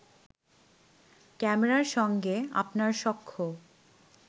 ক্যামেরার সঙ্গে আপনার সখ্য